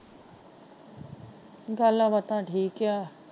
ਗੱਲਾਂ ਬਾਤਾਂ ਠੀਕ ਹੈ।